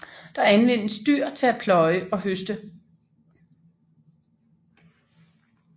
Der anvendes dyr til at pløje og høste